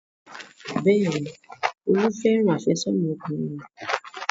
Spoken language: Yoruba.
Bẹ́ẹ̀ni, Olú fẹ́ràn àfẹ́sọ́nà ọkùnrin rẹ̀.